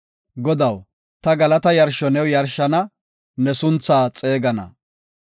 Godaw, ta galata yarsho new yarshana; ne sunthaa xeegana.